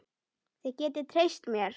Þið getið treyst mér.